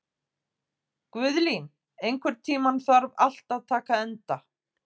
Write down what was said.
Guðlín, einhvern tímann þarf allt að taka enda.